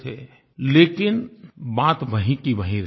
लेकिन बात वहीं की वहीं रह जाती थी